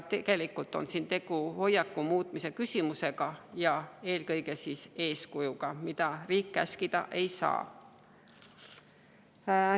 Tegelikult on siin tegu hoiakute muutmise ja eelkõige eeskuju küsimusega, riik siin käskida ei saa.